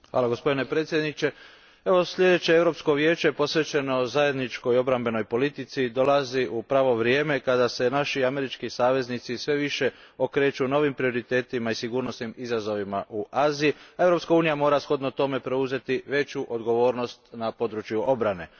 Gospodine predsjedniče, evo sljedeće Europsko vijeće posvećeno zajedničkoj obrambenoj politici dolazi u pravo vrijeme, kada se naši američki saveznici sve više okreću novim prioritetima i sigurnosnim izazovima u Aziji, a Europska unija mora shodno tome preuzeti veću odgovornost na području obrane.